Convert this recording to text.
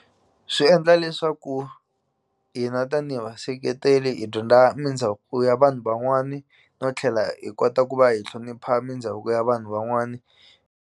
Swi endla leswaku hina tanihi va seketeli hi dyondza mindhavuko ya vanhu van'wani no tlhela hi kota ku va hi hlonipha mindhavuko ya vanhu van'wani.